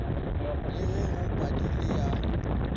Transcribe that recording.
le ge go padile ya